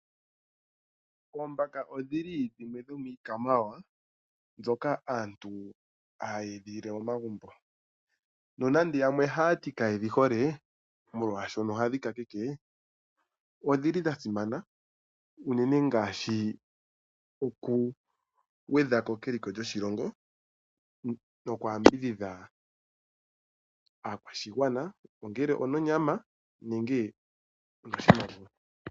Oombaka odhi li dhimwe dhomiikwamawawa mbyoka aantu haya edhilile momagumbo. Nonande yamwe oha ya ti ka ye dhi hole molwashono ohadhi kakeke, odhi li dha simana unene ngaashi okugwedha ko keliko lyoshilongo noku yambudhidha aakwashigwana ongele ononyama nenge onoshimaliwa.